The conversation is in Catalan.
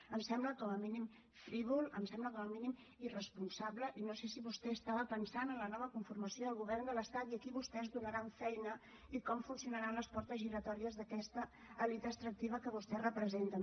em sembla com a mínim frívol em sembla com a mínim irresponsable i no sé si vostè pensava en la nova conformació del govern de l’estat i a qui vostès donaran feina i com funcionaran les portes giratòries d’aquesta elit extractiva que vostès representen